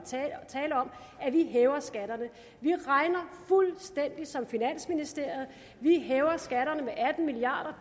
tale om at vi hæver skatterne så vi regner fuldstændig som finansministeriet vi hæver skatterne med atten milliard